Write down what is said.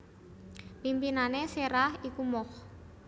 Pimpinané Séra iku Moch